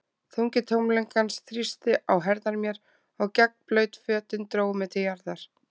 Þungi tómleikans þrýsti á herðar mér, og gegnblaut fötin drógu mig til jarðar.